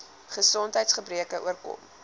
gesondheids gebreke oorkom